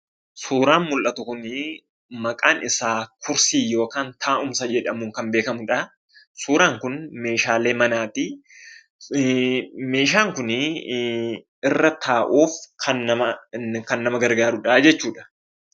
suuraan mul'atu kunii maqaan isaa kursii yookaan taa'umsa jedhamuun kan beekkamudhaa, suuraan kun meeshaalee manaatii , meeshaan kunii irra taa'uuf kan nama gargaarudhaa jechuudha.